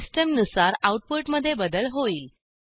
system नुसार output मधे बदल होईल